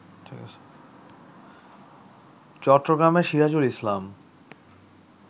চট্টগ্রামের সিরাজুল ইসলাম